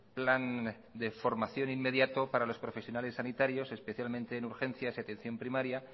plan de formación inmediato para los profesionales sanitarios especialmente en urgencias y atención primaria